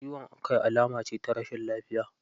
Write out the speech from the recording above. Ciwon kai alama ce ta rashin lafiya.